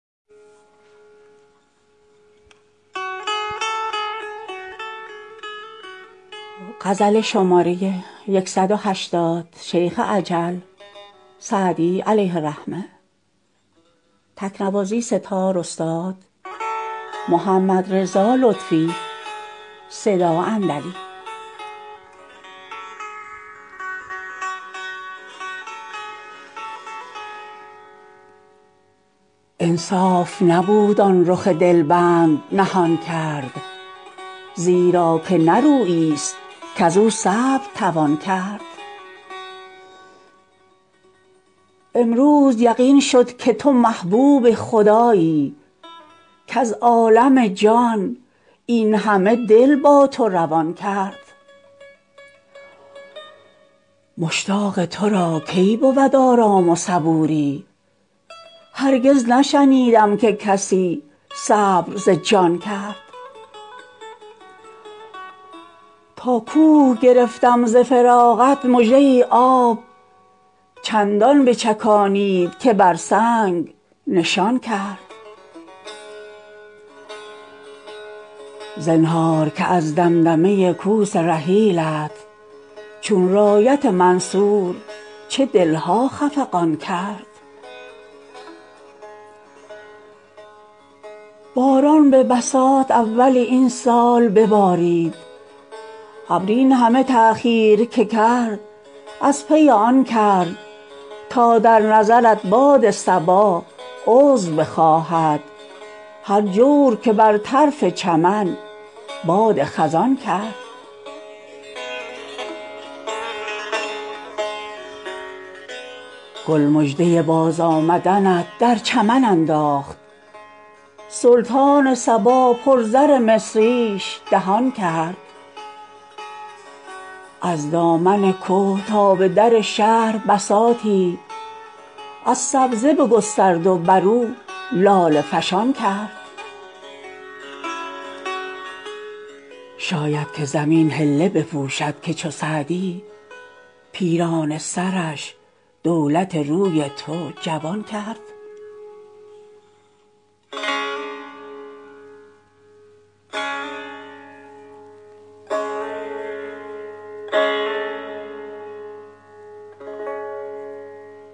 انصاف نبود آن رخ دل بند نهان کرد زیرا که نه رویی ست کز او صبر توان کرد امروز یقین شد که تو محبوب خدایی کز عالم جان این همه دل با تو روان کرد مشتاق تو را کی بود آرام و صبوری هرگز نشنیدم که کسی صبر ز جان کرد تا کوه گرفتم ز فراقت مژه ام آب چندان بچکانید که بر سنگ نشان کرد زنهار که از دمدمه کوس رحیلت چون رایت منصور چه دل ها خفقان کرد باران به بساط اول این سال ببارید ابر این همه تأخیر که کرد از پی آن کرد تا در نظرت باد صبا عذر بخواهد هر جور که بر طرف چمن باد خزان کرد گل مژده بازآمدنت در چمن انداخت سلطان صبا پر زر مصریش دهان کرد از دامن که تا به در شهر بساطی از سبزه بگسترد و بر او لاله فشان کرد شاید که زمین حله بپوشد که چو سعدی پیرانه سرش دولت روی تو جوان کرد